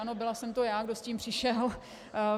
Ano, byla jsem to já, kdo s tím přišel.